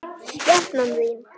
Skepnan þín!